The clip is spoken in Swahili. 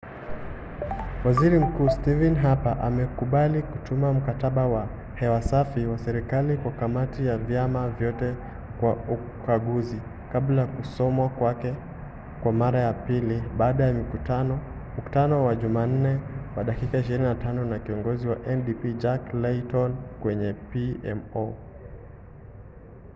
waziri mkuu stephen harper amekubali kutuma ‘mkataba wa hewa safi’ wa serikali kwa kamati ya vyama vyote kwa ukaguzi kabla ya kusomwa kwake kwa mara ya pili baada ya mkutano wa jumanne wa dakika 25 na kiongozi wa ndp jack layton kwenye pmo